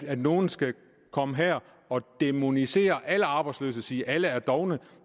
at nogen skal komme her og dæmonisere alle arbejdsløse og sige at alle er dovne